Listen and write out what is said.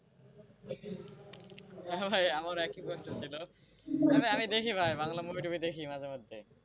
হ্যাঁ ভাই আমারও একই কষ্ট ছিল তবে আমি দেখি ভাই বাংলা movie টুভি দেখি মাঝেমধ্যে।